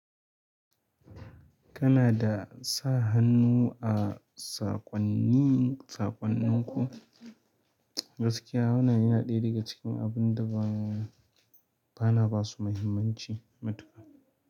Kana da sa hannu a saƙonni saƙonninku? Gaskiya, wannan yana ɗaya daga cikin abin da ba na ba su mahimman ci matuƙa.